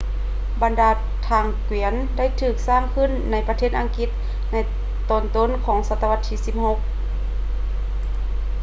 ບັນດາທາງກວຽນ ໄດ້ຖືກສ້າງຂຶ້ນໃນປະເທດອັງກິດໃນຕອນຕົ້ນໆຂອງສັດຕະວັດທີ 16